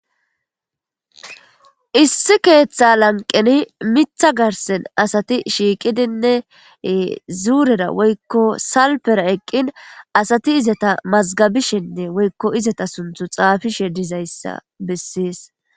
Issi keeththa lanqeni miththa garssen asati shiqidinne zuurera woykko salpera eqqin asati izeta mazgabishe woykko izeta sunththa xaafishe de'izayssa besses.